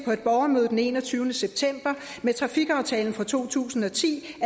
på et borgermøde den enogtyvende september at med trafikaftalen fra to tusind og ti